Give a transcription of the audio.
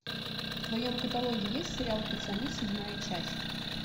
в твоем каталоге есть сериал пацаны седьмая часть